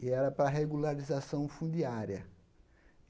e era para regularização fundiária.